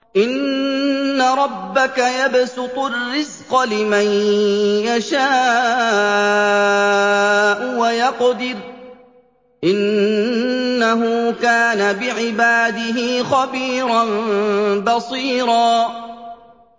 إِنَّ رَبَّكَ يَبْسُطُ الرِّزْقَ لِمَن يَشَاءُ وَيَقْدِرُ ۚ إِنَّهُ كَانَ بِعِبَادِهِ خَبِيرًا بَصِيرًا